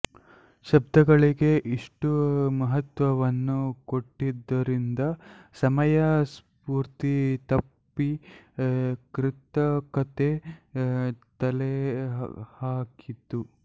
ಶಬ್ದಗಳಿಗೆ ಇಷ್ಟು ಮಹತ್ತ್ವವನ್ನು ಕೊಟ್ಟಿದ್ದರಿಂದ ಸಮಯ ಸ್ಪೂರ್ತಿ ತಪ್ಪಿ ಕೃತಕತೆ ತಲೆಹಾಕಿತು